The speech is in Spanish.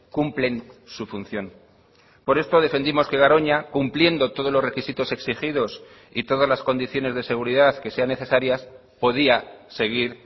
cumplen su función por esto defendimos que garoña cumpliendo todos los requisitos exigidos y todas las condiciones de seguridad que sean necesarias podía seguir